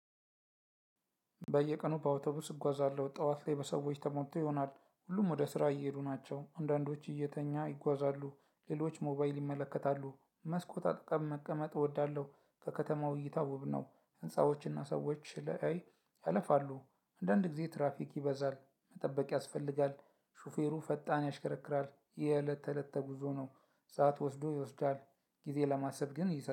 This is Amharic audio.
በየቀኑ በአውተቡስ እጓዛለሁ ጠዋት ላይ በሰዎች ተሞልቶ ይሆናል ሁሉም ወደ ስራ እየሄዱ ናቸው። አንዳንዶች እየተኛ ይጓዛሉ ሌሎች ሞባይል ይመለከታሉ። መስኮት አጠገብ መቀመጥ እወዳለሁ። ከከተማው እይታ ውብ ነው። ህንፃዎችና ሰዎች ለአይ ያለፋሉ። አንዳንድ ጊዜ ትራፊክ ይበዛል መጠበቅ ያስፈልጋል። ሹፌሩ ፈጣን ያሽከረክራል የእለት ተእለት ጉዞ ነው። ሰዓት ወስዶ ይወስዳል። ጊዜ ለማሰብ ግን